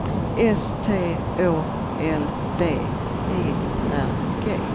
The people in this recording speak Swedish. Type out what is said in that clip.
S T Å L B E R G